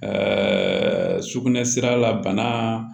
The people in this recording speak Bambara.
sugunɛ sira la bana